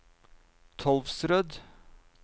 Tolvsrød